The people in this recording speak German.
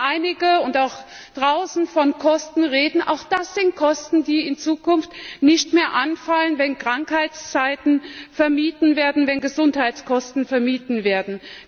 Wenn hier und auch draußen einige von Kosten reden Auch das sind Kosten, die in Zukunft nicht mehr anfallen, wenn Krankheitszeiten vermieden werden, wenn Gesundheitskosten vermieden werden.